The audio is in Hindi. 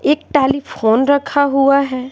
एक टेलीफोन रखा हुआ है।